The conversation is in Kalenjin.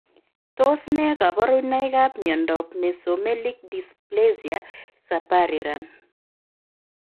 Tos ne kabarunoik ap miondoop Mesomelik dysplesia Sapariran?